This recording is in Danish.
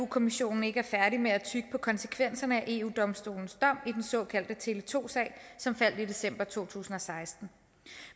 kommissionen ikke er færdig med at tygge på konsekvenserne af eu domstolens dom i den såkaldte tele2 sag som faldt i december to tusind og seksten